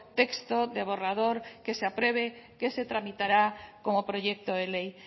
texto de borrador que se aprueb que se tramitará como proyecto de ley